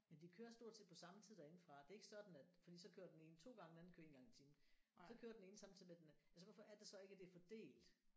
Men de kører stort set på samme tid derinde fra det er ikke sådan at fordi så kører den ene en 2 gange den anden kører 1 gang i timen så kører den ene samtidig med den anden altså hvorfor er det så ikke at det er fordelt